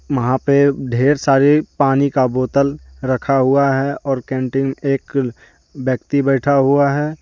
वहां पे ढेर सारे पानी का बोतल रखा हुआ है और कैंटीन एक व्यक्ति बैठा हुआ है।